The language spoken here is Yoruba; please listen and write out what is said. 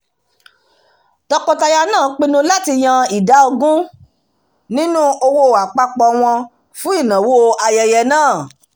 tọkọtaya náà pinnu láti yan ìdá ogún nínú owó àpapọ̀ wọn fún ìnáwó ayẹyẹ náà